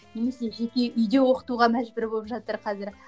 немесе жеке үйде оқытуға мәжбүр болып жатыр қазір